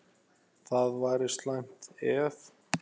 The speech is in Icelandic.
Það væri slæmt, ef